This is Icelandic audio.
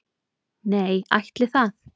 Nei, ætli það?